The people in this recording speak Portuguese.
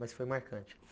Mas foi marcante.